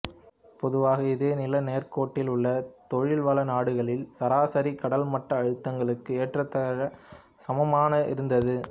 பொதுவாக இதே நிலநேர்க்கோட்டில் உள்ள தொழில்வள நாடுகளின் சராசரி கடல் மட்ட அழுத்தங்களுக்கு ஏறத்தாழ சமனாக இருந்தது